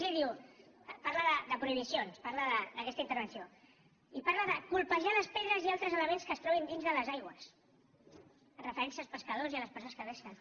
g diu parla de prohibicions parla d’aquesta intervenció i parla de colpejar les pedres i altres elements que es trobin dins de les aigües en referència als pescadors i a les persones que pesquen